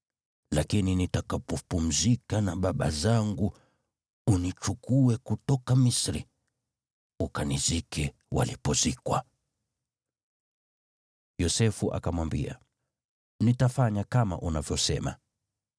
lakini nitakapopumzika na baba zangu, unichukue kutoka Misri, ukanizike walipozikwa.” Yosefu akamwambia, “Nitafanya kama unavyosema.”